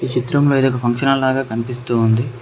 చిత్రంలో ఇది ఒక ఫంక్షన్ హాల్ లాగా కనిపిస్తూ ఉంది.